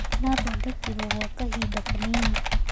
Ara thondekirwo gwa kahinda kanini.